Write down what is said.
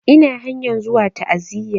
Ina hanyan zuwa ta'aziya